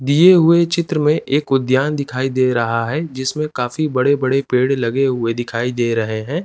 दिए हुए चित्र में एक उद्द्यान दिखाई दे रहा है जिसमें काफी बड़े बड़े पेड़ लगे हुए दिखाई दे रहे हैं।